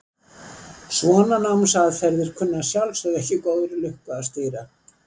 Svona námsaðferðir kunna að sjálfsögðu ekki góðri lukku að stýra.